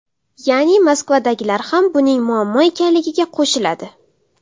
Ya’ni Moskvadagilar ham buning muammo ekanligiga qo‘shiladi”.